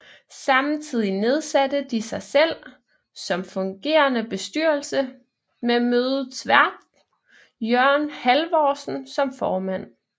Samtidig nedsatte de sig selv som fungerende bestyrelse med mødets vært Jørgen Halvorsen som formand